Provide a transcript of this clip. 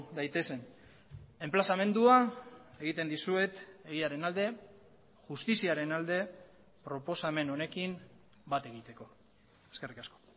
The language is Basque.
daitezen enplazamendua egiten dizuet egiaren alde justiziaren alde proposamen honekin bat egiteko eskerrik asko